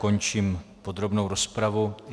Končím podrobnou rozpravu.